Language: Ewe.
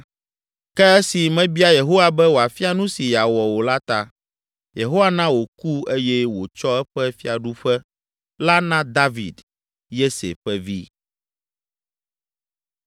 Ke esi mebia Yehowa be wòafia nu si yeawɔ o la ta, Yehowa na wòku eye wòtsɔ eƒe fiaɖuƒe la na David, Yese ƒe vi.